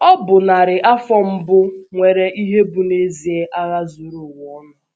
Ọ bụ narị afọ mbụ afọ mbụ nwere ihe bụ́ n’ezie agha zuru ụwa ọnụ...